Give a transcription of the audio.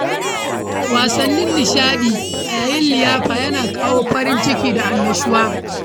Wasannin nishaɗi a yayin liyafa yana kawo farin ciki da annashuwa.